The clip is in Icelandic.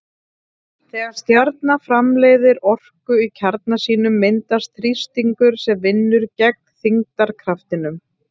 Þegar stjarna framleiðir orku í kjarna sínum myndast þrýstingur sem vinnur gegn þyngdarkraftinum.